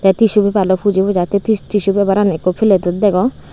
tissue paper loi puji pujai te se tissue paper ran ekko plate dot degon.